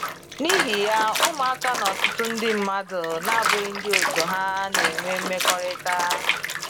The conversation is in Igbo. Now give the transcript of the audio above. N’ihi ya, ụmụaka na ọtụtụ ndị mmadụ n'abụghị ndị òtù ha na enwe mmekọrịta.